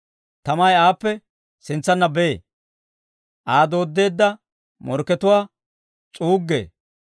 Tamay aappe sintsanna bee; Aa dooddeedda morkkatuwaa s'uuggee.